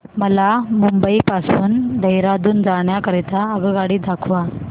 मला मुंबई पासून देहारादून जाण्या करीता आगगाडी दाखवा